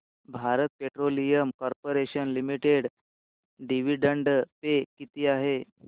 Bharat petroleum corporation limited dividend pay किती आहे